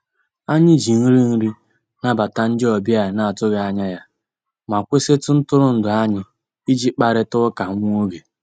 Anyị jì nrì nrì nàbàtà ndị ọbìà a nà-atụghị anyà yá mà kwụsịtụ ntụrụndụ anyị ìjì kparịtà ụkà nwá ògè.